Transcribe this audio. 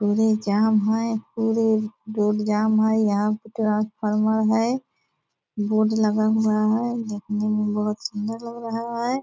पूरी जाम है पूरी रोड जाम है यहाँ पे ट्रांसफॉर्मर है बोर्ड लगा हुआ है देखने मे बहुत सुंदर लग रहा है |